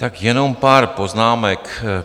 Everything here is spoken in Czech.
Tak jenom pár poznámek.